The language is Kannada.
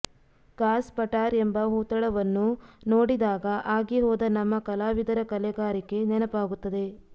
ಕಾಸ್ ಪಟಾರ್ ಎಂಬ ಹೂತಳವನ್ನು ನೋಡಿದಾಗ ಆಗಿಹೋದ ನಮ್ಮ ಕಲಾವಿದರ ಕಲೆಗಾರಿಕೆ ನೆನಪಾಗುತ್ತದೆ